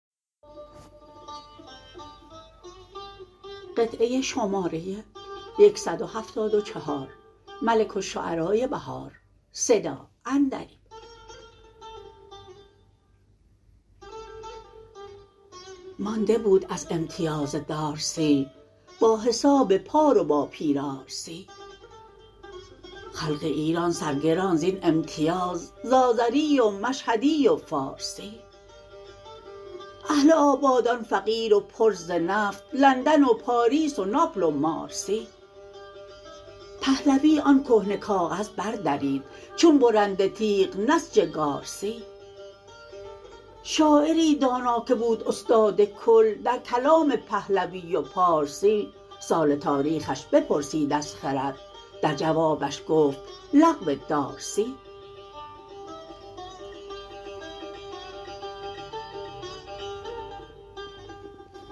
مانده بود از امتیاز دارسی با حساب پارو با پیرار سی خلق ایران سرگران زین امتیاز ز آذری و مشهدی و فارسی اهل آبادان فقیر و پر ز نفت لندن و پاریس و ناپل و مارسی پهلوی آن کهنه کاغذ بردرید چون برنده تیغ نسج گارسی شاعری دانا که بود استاد کل درکلام پهلوی و پارسی سال تاریخش بپرسید از خرد در جوابش گفت لغو دارسی